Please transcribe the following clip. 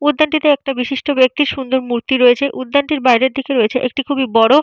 উদ্যানটিতে একটা বিশিষ্ট ব্যক্তি সুন্দর মূর্তি রয়েছে। উদ্যানটির বাইরে থেকে রয়েছে একটি খুবই বড়।